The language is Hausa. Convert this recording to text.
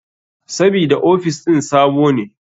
Sabida ofis ɗin sabo ne.